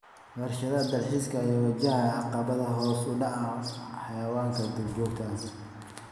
Warshadaha dalxiiska ayaa wajahaya caqabadaha hoos u dhaca xayawaanka duurjoogta ah.